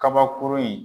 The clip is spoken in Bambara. Kabakurun in